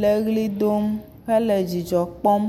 le ʋli dom, hele dzidzɔ kpɔm.